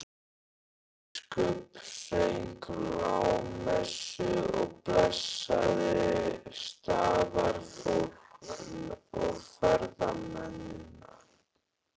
Biskup söng lágmessu og blessaði staðarfólk og ferðamennina.